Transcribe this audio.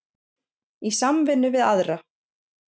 Í samvinnu við aðra